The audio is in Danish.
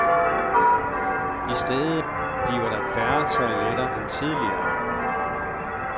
I stedet bliver der færre toiletter end tidligere.